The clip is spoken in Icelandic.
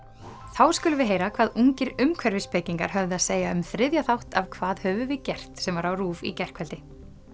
þá skulum við heyra hvað ungir höfðu að segja um þriðja þátt af hvað höfum við gert sem var á RÚV í gærkvöldi